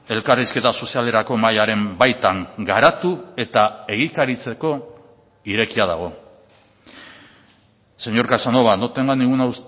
elkarrizketa sozialerako mahaiaren baitan garatu eta egikaritzeko irekia dago señor casanova no tenga ninguna